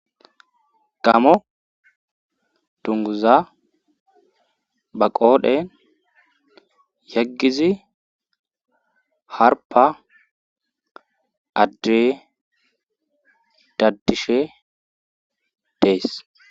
gamo dunguza ba qoodhen yaggizi harpa addey daddishe dees